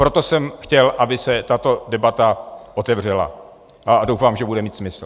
Proto jsem chtěl, aby se tato debata otevřela, a doufám, že bude mít smysl.